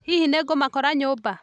Hihi nĩngũmakora nyũmba?